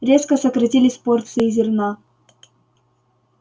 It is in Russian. резко сократились порции зерна